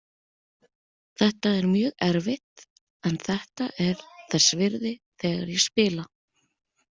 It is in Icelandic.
Þetta er mjög erfitt en þetta er þess virði þegar ég spila.